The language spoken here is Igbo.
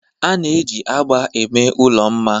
a na-eji agba eme ụlọ mma